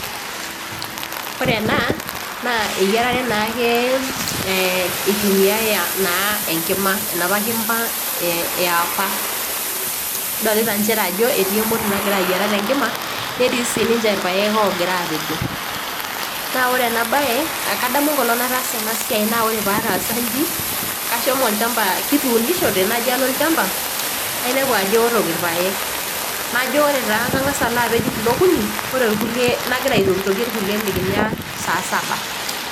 Ore ena naa eyiarare naake eitumiyai naake enkima enapa kima yaapa, nidolita njere ajo etii emoti nagira ayiara tenkima netii siininje ilpayek ogira aapejo. naa ore ena bae kadamu enkolong' nataasa ena siai naa ore pataasa inji kashomo olchamba kutuunishote najo w alo olchamba naipenu ajo eotok ilpayek, najo ore taa kangasa alo apej kulo okuni, ore ilkulie nagira aitokitokie ilkulie likinya saa saba.